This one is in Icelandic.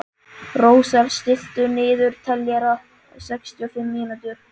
Rósar, stilltu niðurteljara á sextíu og fimm mínútur.